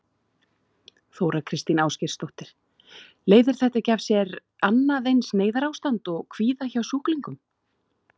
Þóra Kristín Ásgeirsdóttir: Leiðir þetta ekki af sér annað eins neyðarástand og kvíða hjá sjúklingum?